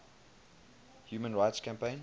human rights campaign